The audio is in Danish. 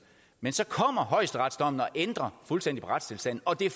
men så kommer højesteretsdommen og ændrer fuldstændig på retstilstanden og det